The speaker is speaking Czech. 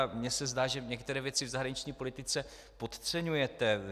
A mně se zdá, že některé věci v zahraniční politice podceňujete.